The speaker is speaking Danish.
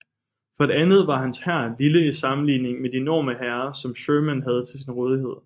For det andet var hans hær lille i sammenligning med de enorme hære som Sherman havde til sin rådighed